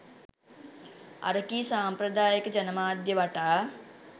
අරකී සම්ප්‍රදායීක ජනමාධ්‍ය වටා